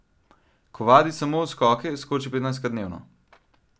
Ko vadi samo skoke, skoči petnajstkrat dnevno.